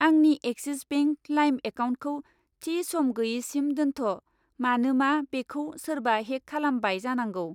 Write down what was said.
आंनि Axis bank लाइम एकाउन्टखौ थि सम गैयिसिम दोनथ', मानोमा बेखौ सोरबा हेक खालामबाय जानांगौ।